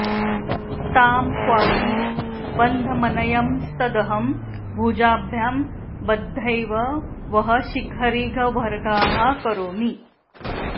तां क्वापि बन्धमनयंस्तदहं भुजाभ्यां बद्ध्वैव वः शिखरिगह्वरगाः करोमि